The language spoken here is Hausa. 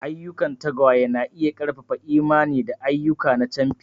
Ayyukan tagwaye na iya ƙarfafa imani da ayyuka na camfi.